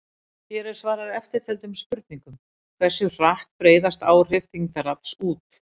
Hér er svarað eftirtöldum spurningum: Hversu hratt breiðast áhrif þyngdarafls út?